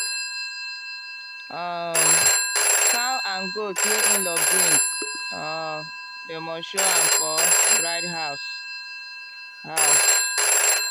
um cow and goat wey in-law bring um dem must show am for bride house. house.